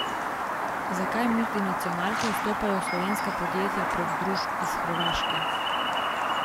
Zakaj multinacionalke vstopajo v slovenska podjetja prek družb iz Hrvaške?